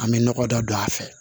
An bɛ nɔgɔ dɔ don a fɛ